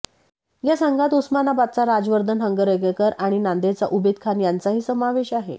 या संघात उस्मानाबादचा राजवर्धन हंगरगेकर आणि नांदेडच्या उबेद खान यांचाही समावेश आहे